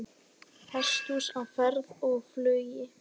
Hesthús á ferð og flugi